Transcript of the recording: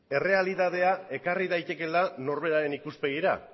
errealitatea ekarri daitekeela norberaren ikuspegira